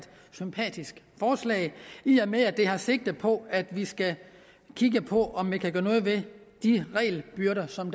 sympatisk forslag i og med at det har sigte på at vi skal kigge på om vi kan gøre noget ved de regelbyrder som